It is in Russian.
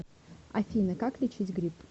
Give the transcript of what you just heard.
афина как лечить грипп